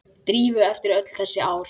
Drífu eftir öll þessi ár.